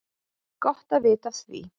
Gott að vita af því!